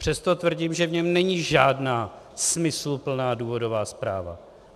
Přesto tvrdím, že v něm není žádná smysluplná důvodová zpráva.